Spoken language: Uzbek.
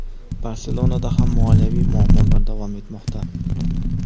"Barselona"da ham moliyaviy muammolar davom etmoqda.